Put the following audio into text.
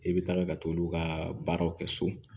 I bɛ taga ka t'olu ka baaraw kɛ so